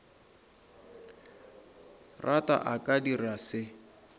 rata a ka dirago se